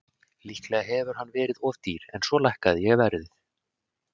Líklega hefur hann verið of dýr en svo lækkaði ég verðið.